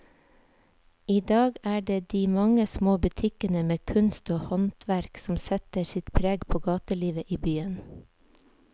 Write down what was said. I dag er det de mange små butikkene med kunst og håndverk som setter sitt preg på gatelivet i byen.